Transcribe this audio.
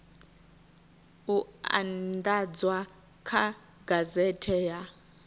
u andadzwa kha gazethe ya